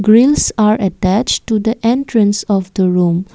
grills are attached to the entrance of the room.